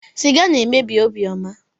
Siga na-emebi obiọma.